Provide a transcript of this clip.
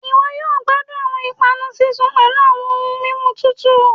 iwọ yoo gbadun awọn ipanu sisun pẹlu awọn ohun mimu tutu.